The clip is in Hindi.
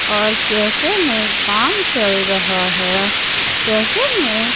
और कैफे में काम चल रहा है कैफे में--